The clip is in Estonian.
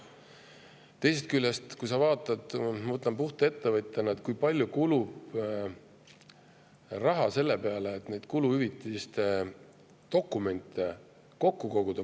Teisest küljest vaatame, mõtlen puht ettevõtjana, kui palju kulub raha selle peale, et neid kuluhüvitiste dokumente kokku koguda.